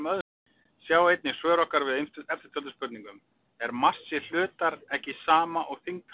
Sjá einnig svör okkar við eftirtöldum spurningum: Er massi hlutar ekki sama og þyngd hans?